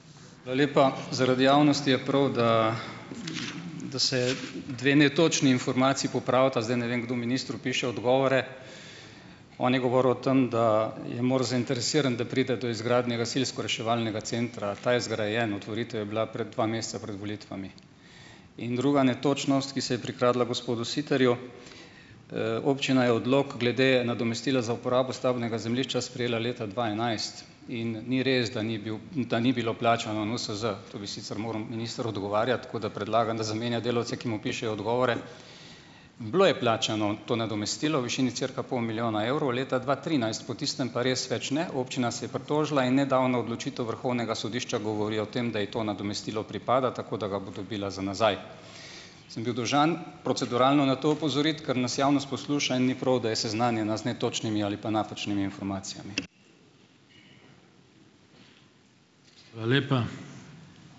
Hvala lepa. Zaradi javnosti je prav, da, da se dve netočni informaciji popravita. Zdaj, ne vem, kdo ministru piše odgovore - on je govoril o tem, da je MORS zainteresiran, da pride do izgradnje gasilsko-reševalnega centra. Ta je zgrajen. Otvoritev je bila pred, dva meseca pred volitvami. In druga netočnost, ki se je prikradla gospodu Sitarju - občina je odlok glede nadomestila za uporabo stavbnega zemljišča sprejela leta dva enajst. In ni res, da ni bil, - da ni bilo plačano NUSZ. Tu bi sicer moral minister odgovarjati, tako da predlagam, da zamenja delavce, ki mu pišejo odgovore. Bilo je plačano to nadomestilo v višini cirka pol milijona evrov, leta dva trinajst. Po tistem pa res več ne. Občina se je pritožila in nedavna odločitev vrhovnega sodišča govori o tem, da ji to nadomestilo pripada, tako da ga bo dobila za nazaj. Sem bil dolžan proceduralno na to opozoriti, ker nas javnost posluša in ni prav, da je seznanjena z netočnimi ali pa napačnimi informacijami.